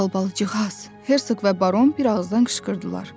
Albalıcıqaz, Hersoq və Baron bir ağızdan qışqırdılar.